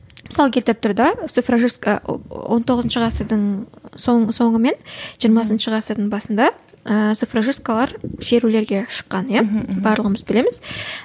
мысал келтіріп тұр да цифрожистка он тоғызыншы ғасырдың соңы мен жиырмасыншы ғасырдың басында ііі цифрожисткалар шерулерге шыққан иә барлығымыз білеміз